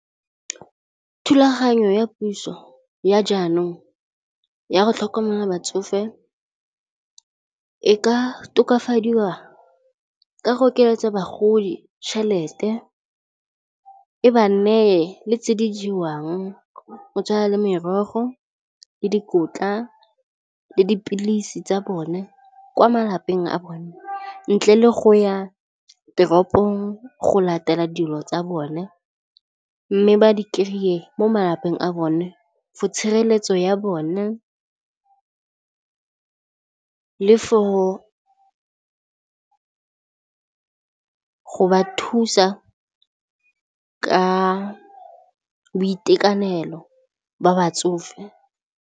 Thulaganyo ya puso ya jaanong ya go tlhokomela batsofe e ka tokafadiwa ka go oketsa bagodi tšhelete, e ba neye le tse di jewang go tshwana le merogo le dikotla le dipilisi tsa bone kwa malapeng a bone ntle le go ya toropong go latela dilo tsa bone mme ba di kry-e mo malapeng a bone for tshireletso ya bone le for go ba thusa ka boitekanelo ba batsofe.